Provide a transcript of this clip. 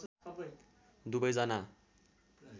दुबै जना